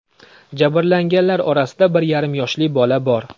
Jabrlanganlar orasida bir yarim yoshli bola bor.